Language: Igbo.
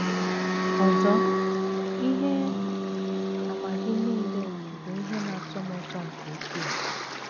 Ọzọ, ihe àmà Gị nile bụ ihe na - atọ m ụtọ nke ukwuu...